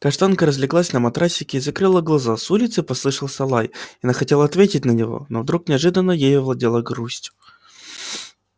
каштанка разлеглась на матрасике и закрыла глаза с улицы послышался лай и она хотела ответить на него но вдруг неожиданно ею овладела грусть